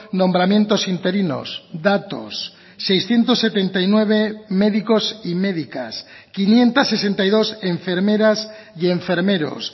nombramientos interinos datos seiscientos setenta y nueve médicos y médicas quinientos sesenta y dos enfermeras y enfermeros